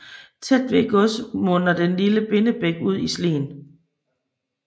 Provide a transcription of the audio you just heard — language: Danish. Tæt ved godset munder den lille Binebæk ud i Slien